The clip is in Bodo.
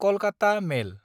कलकाता मेल